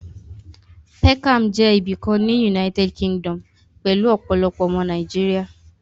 Peckham jẹ́ ibìkan ní United Kingdom pẹ̀lú ọ̀pọ̀lọpọ̀ ọmọ Nàìjíríà